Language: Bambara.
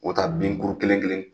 U taa binkuru kelen kelen